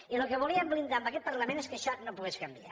i el que volíem blindar en aquest parlament és que això no pogués canviar